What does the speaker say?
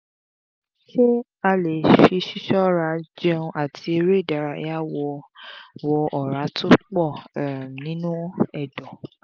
ṣé a le fi ṣiṣọra jéun ati eré ìdárayá wo um Ọ̀rá to pọ̀ ninu ẹ̀dọ̀